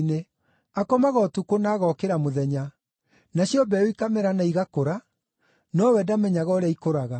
Akomaga ũtukũ na agokĩra mũthenya, nacio mbeũ ikamera na igakũra, nowe ndamenyaga ũrĩa ikũraga.